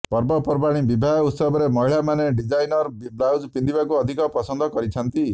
ପର୍ବ ପର୍ବାଣୀ ବିବାହ ଉତ୍ସବରେ ମହିଳାମାନେ ଡିଜାଇନର୍ ବ୍ଲାଉଜ୍ ପିନ୍ଧିବାକୁ ଅଧିକ ପସନ୍ଦ କରିଥାନ୍ତି